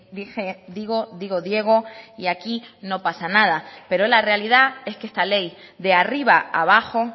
dije digo digo diego y aquí no pasa nada pero la realidad es que esta ley de arriba abajo